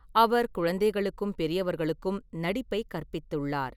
அவர் குழந்தைகளுக்கும் பெரியவர்களுக்கும் நடிப்பைக் கற்பித்துள்ளார்.